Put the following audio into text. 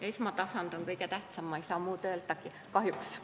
Esmatasand on kõige tähtsam, ma ei saagi muud öelda, kahjuks.